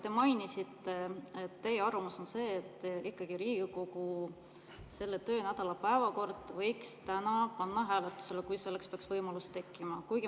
Te mainisite, et teie arvamus on see, et Riigikogu selle töönädala päevakorra võiks täna ikkagi panna hääletusele, kui selleks peaks võimalus tekkima.